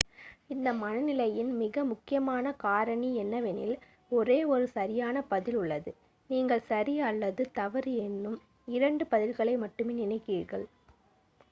இந்த மனநிலையின் மிக முக்கியமான காரணி என்னவெனில் ஒரே ஒரு சரியான பதில் உள்ளது நீங்கள் சரி அல்லது தவறு என்னும் இரண்டு பதில்களை மட்டுமே நினைக்கிறீர்கள்